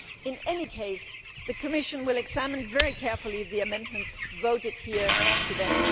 In any case, the Commission will examine very carefully the amendments voted here today.